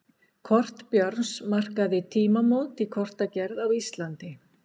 kort björns markaði tímamót í kortagerð á íslandi